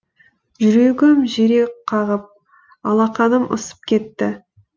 жүрегім жиірек қағып алақаным ысып кетті